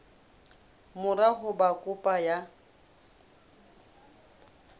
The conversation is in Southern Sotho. mora ho ba kopo ya